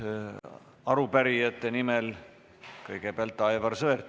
Arupärijate nimel esineb kõigepealt Aivar Sõerd.